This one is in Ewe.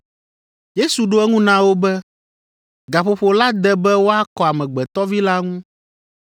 Yesu ɖo eŋu na wo be, “Gaƒoƒo la de be woakɔ Amegbetɔ Vi la ŋu.